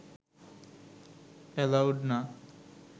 allowed না